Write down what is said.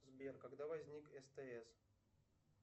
сбер когда возник стс